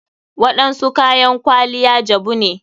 Waɗansu kayan kwaliya jabu ne.